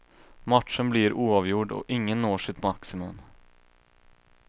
Matchen blir oavgjord och ingen når sitt maximum.